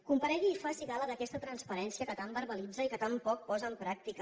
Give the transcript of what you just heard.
comparegui i faci gala d’aquesta transparència que tant verbalitza i que tan poc posa en pràctica